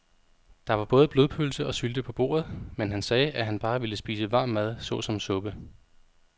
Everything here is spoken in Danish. Der var både blodpølse og sylte på bordet, men han sagde, at han bare ville spise varm mad såsom suppe.